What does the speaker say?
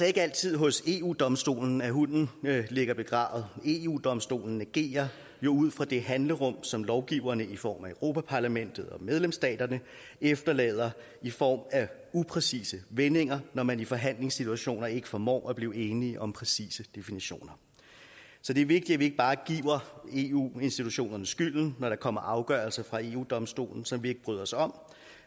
ikke altid hos eu domstolen at hunden ligger begravet eu domstolen agerer jo ud fra det handlerum som lovgiverne i form af europa parlamentet og medlemsstaterne efterlader i form af upræcise vendinger når man i forhandlingssituationer ikke formår at blive enige om præcise definitioner så det er vigtigt at vi ikke bare giver eu institutionerne skylden når der kommer afgørelser fra eu domstolen som vi ikke bryder os om